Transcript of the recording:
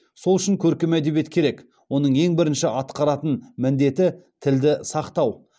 сол үшін көркем әдебиет керек оның ең бірінші атқаратын міндеті тілді сақтау